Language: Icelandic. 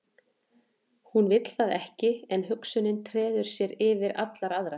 Hún vill það ekki en hugsunin treður sér yfir allar aðrar.